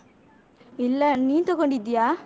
ಇಲ್ಲ, ನೀನ್ ತಗೊಂಡಿದ್ಯಾ?